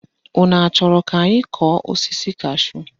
Unu achọrọ ka anyị kọọ osisi kashúù?